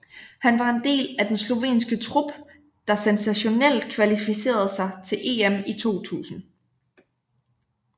Han var en del af den slovenske trup der sensationelt kvalificerede sig til EM i 2000